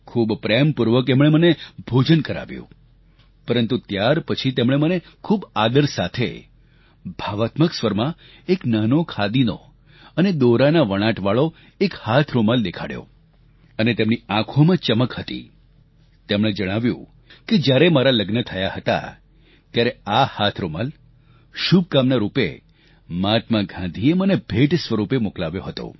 ખૂબ પ્રેમપૂર્વક એમણે મને ભોજન કરાવ્યું પરંતુ ત્યારપછી તેમણે મને ખૂબ આદર સાથે ભાવાત્મક સ્વરમાં એક નાનો ખાદીનો અને દોરાના વણાટવાળો એક હાથ રૂમાલ દેખાડ્યો અને તેમની આંખોમાં ચમક હતી તેમણે જણાવ્યું કે જ્યારે મારા લગ્ન થયાં હતાં ત્યારે આ હાથરૂમાલ શુભકામના રૂપે મહાત્મા ગાંધીએ મને ભેટ સ્વરૂપે મોકલાવ્યો હતો